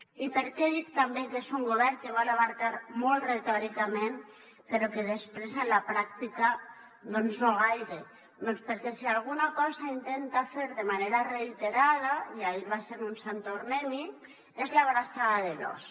i per què dic també que és un govern que vol abastar molt retòricament però que després en la pràctica doncs no gaire doncs perquè si alguna cosa intenta fer de manera reiterada i ahir va ser un sant tornem hi és l’abraçada de l’ós